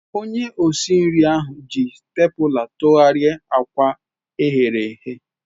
Onye osi nri ahụ ga-eji spatula tụgharịa akwa eghere eghe.